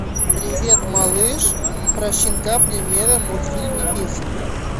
привет малыш про щенка премьера мультфильм и песенка